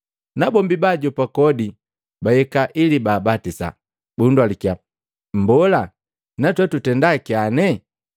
Nabombi baajopa kodi bahika ili baabatisa, bundalukiya, “Mbola, natwe tutendaa kyane?”